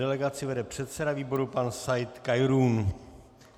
Delegaci vede předseda výboru pan Said Khairoun.